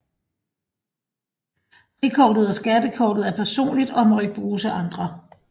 Frikortet og skattekortet er personligt og må ikke bruges af andre